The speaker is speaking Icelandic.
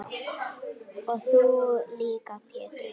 Og þú líka Pétur.